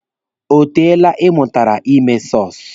O teele Ị mụtara ime sọsụ?